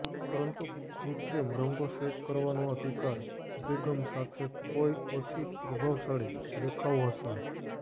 પરંતુ કૃત્રિમ રંગો સેટ કરવાનો અધિકાર અભિગમ સાથે કોઈ ઓછી પ્રભાવશાળી દેખાવ હશે